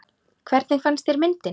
Hvernig fannst þér myndin?